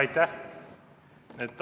Aitäh!